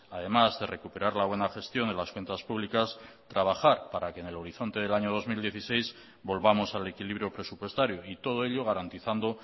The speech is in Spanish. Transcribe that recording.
además de recuperar la buena gestión de las cuentas públicas trabajar para que en el horizonte del año dos mil dieciséis volvamos al equilibrio presupuestario y todo ello garantizando